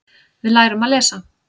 Við lærum að lesa.